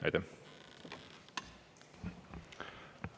Aitäh!